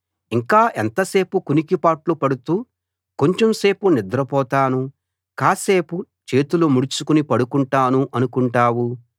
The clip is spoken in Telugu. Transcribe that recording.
ఇంకా ఎంతసేపు కునికిపాట్లు పడుతూ కొంచెం సేపు నిద్రపోతాను కాస్సేపు చేతులు ముడుచుకుని పడుకుంటాను అనుకుంటావు